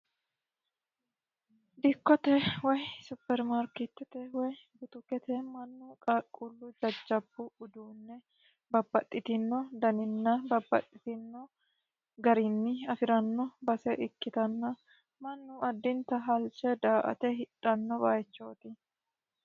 dikkote woy supermarkithote woy butukete qaaqqullu jajjabu uduunne babpaxxitino daninna babbaxxitino garinni afi'ranno base ikkitanna mannu addinta halche da"ate hidhanno bayichooti